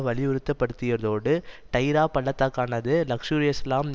வலியுறுத்தியதோடு டைரா பள்ளத்தாக்கானது லக்ஷர்ஈஇஸ்லாம்